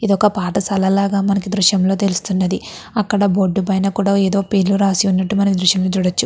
ఇది ఒక పాఠశాల లాగా మనకి ఈ దృశ్యం లో తెలుస్తున్నది. అక్కడ బోర్డు పైన కూడా ఏవో పేర్లు రాసి ఉన్నట్టు మనం ఈ దృశ్యం లో చూడచ్చు.